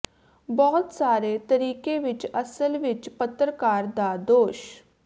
ਬਹੁਤ ਸਾਰੇ ਤਰੀਕੇ ਵਿਚ ਅਸਲ ਵਿਚ ਪੱਤਰਕਾਰ ਦਾ ਦੋਸ਼